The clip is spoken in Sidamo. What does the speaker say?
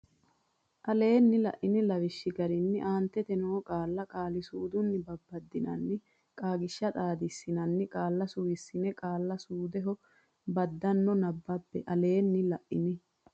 Aleenni la ini lawishshi garinni aantete noo qaalla qaali suudunni babbaddinanninna Qaagiishsha xaadissinanni qaalla suwissine qaalla qaali suudeho baddanno nabbabbe Aleenni la ini.